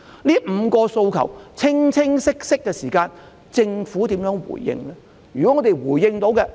這5項訴求十分清晰，政府會如何回應？